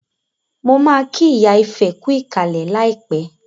Mo ma kí ìyá Ifẹ̀ kú ìkàlẹ̀ láìpẹ́